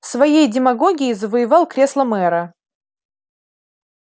своей демагогией завоевал кресло мэра